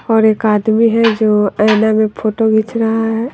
और एक आदमी है जो आईना में फोटो खींच रहा है।